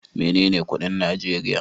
Menene kudin Najeriya?